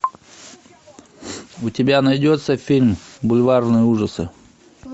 у тебя найдется фильм бульварные ужасы